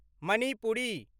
Manipuri